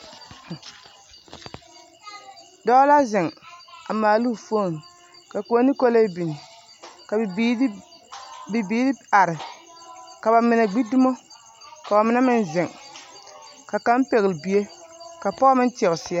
Dɔɔ la zeŋ a maala o foone ka koɔ ne kolee biŋ ka bibiiri bibiiri are ka ba mine gbi dummo ka ba mine meŋ zeŋ ka kaŋ pɛgle bie ka pɔge meŋ teɛ o seɛ.